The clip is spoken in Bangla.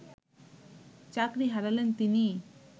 চাকরি হারালেন তিনি